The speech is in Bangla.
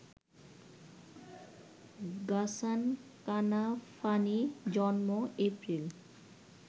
গাসান কানাফানি জন্ম: এপ্রিল